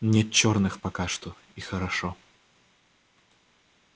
нет черных пока что и хорошо